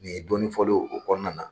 Ni ye dɔɔni fɔ dɔrɔn o kɔnɔna na.